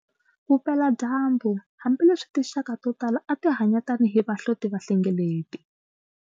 Vupela dyambu, hambi leswi tinxaka totala ati hanya tani hi vahlotivahlengeleti.